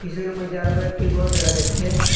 পিছনের মধ্যে আরও কয়েকটি গর দেখা যাচ্ছে।